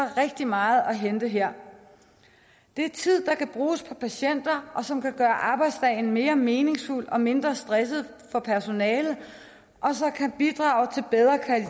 rigtig meget at hente her det er tid der kan bruges på patienter og som kan gøre arbejdsdagen mere meningsfyldt og mindre stresset for personalet og som kan bidrage